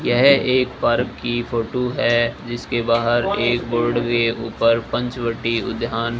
यह एक पार्क की फोटो है जिसके बाहर एक बोर्ड के ऊपर पंचवटी उद्यान --